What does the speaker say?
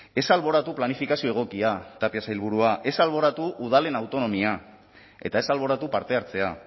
ez alboratu planifikazio egokia tapia sailburua ez alboratu udalen autonomia eta ez alboratu parte hartzea